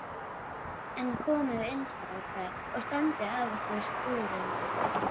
En komiði inn strákar og standið af ykkur skúrina.